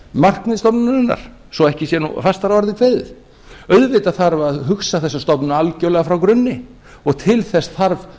grundvallarmarkmið stofnunarinnar svo ekki sé nú fastar að orði kveðið auðvitað þarf að hugsa þessa stofnun algjörlega frá grunni og til þess þarf